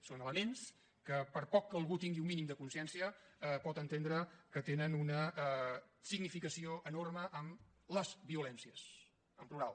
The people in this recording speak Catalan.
són elements que per poc que algú tingui un mínim de consciència pot entendre que tenen una significació enorme en les violències en plural